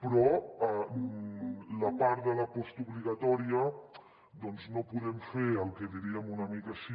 però a la part de la postobligatòria doncs no podem fer el que en diríem una mica així